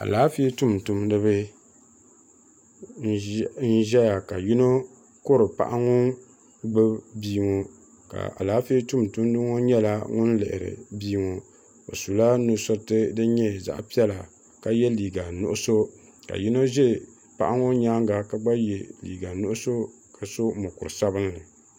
alaanƒɛ dumdum ni ba n ʒɛya ka yino kuri paɣ' ŋɔ gbabi bia ŋɔ ka alaanƒɛɛ dumdum ŋɔ nyɛla ŋɔ lihiri bia ŋɔ o sula nusuritɛ din nyɛ zaɣ' piɛla ka yɛ liga nuɣisu ka yino ʒɛ paɣ' ŋɔ nyɛŋa ka gba yɛ liga nuɣisu ka so mukuri sabinli